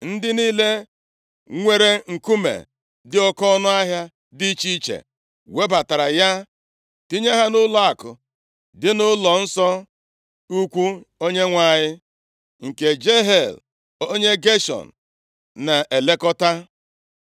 Ndị niile nwere nkume dị oke ọnụahịa dị iche iche webatara ya tinye ha nʼụlọakụ dị nʼụlọ nso ukwu Onyenwe anyị, nke Jehiel onye Geshọn na-elekọta.